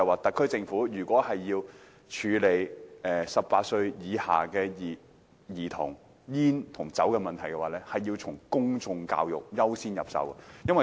特區政府如果處理18歲以下的兒童吸煙和飲酒的問題，必須優先從公眾教育着手。